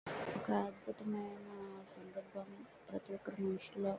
ఒక అద్భుతమైన సందర్భం ప్రతి ఒక మనసులో.